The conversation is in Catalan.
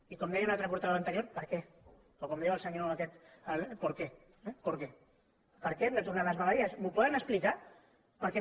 i com deia un altre portaveu anterior per què o com diu el senyor aquest por qué de tornar a les vegueries m’ho poden explicar per què no